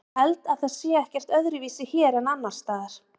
Ég held að það sé ekkert öðruvísi hér en annars staðar.